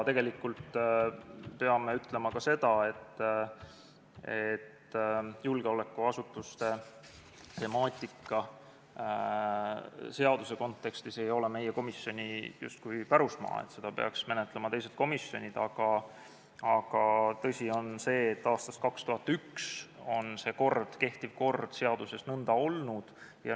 Peame ütlema ka seda, et julgeolekuasutuste temaatika seaduse kontekstis ei ole justkui meie komisjoni pärusmaa, seda peaks menetlema teised komisjonid, aga tõsi on see, et aastast 2001 on kehtiv kord seaduses selline olnud.